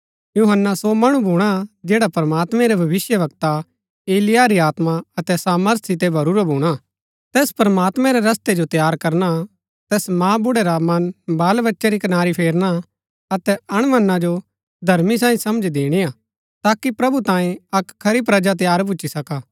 यूहन्‍ना सो मणु भूणा जैड़ा प्रमात्मैं रै भविष्‍यवक्ता एलिय्याह री आत्मा अतै सामर्थ सितै भरूरा भूणा तैस प्रमात्मैं रै रस्तै जो तैयार करना तैस मांबुड्‍ड़ै रा मन बालबच्चै री कनारी फेरना अतै अणमन्ना जो धर्मी साईं समझ दिणिआ ताकि प्रभु तांई अक्क खरी प्रजा तैयार भुच्‍ची सका